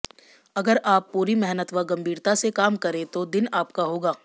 अगर आप पूरी मेहनत व गंभीरता से काम करें तो दिन आपका होगा